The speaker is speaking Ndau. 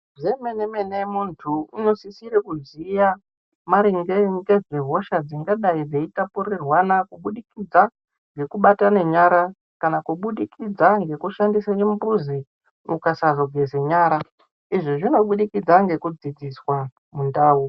Zve mene mene muntu uno sisire kuziya maringe ngezve hosha dzingadai dzeyi tapurirwana kubudikidza ngeku batane nyara kana kubudikidza ngeku shandisa chimbuzi ukasazo geze nyara izvi zvino budikidza ngeku dzidziswa mu ndau.